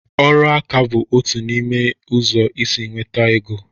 Ịrụ aka bụ otu n'ime ụzọ isi nweta ego.